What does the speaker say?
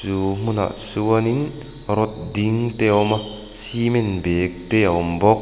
chu hmunah chuanin rod ding te a awm a cement bag te a awm bawk.